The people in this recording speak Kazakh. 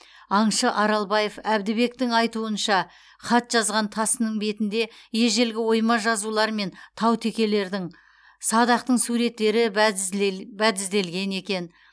аңшы аралбаев әбдібектің айтуынша хат жазған тасының бетінде ежелгі ойма жазулар мен таутекелердің садақтың суреттері бәдізделген екен